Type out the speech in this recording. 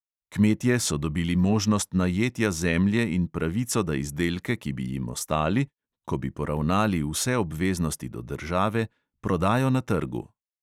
Kmetje so dobili možnost najetja zemlje in pravico, da izdelke, ki bi jim ostali, ko bi poravnali vse obveznosti do države, prodajo na trgu.